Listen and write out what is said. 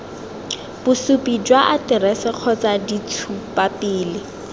bosupi jwa aterese kgotsa ditshupapele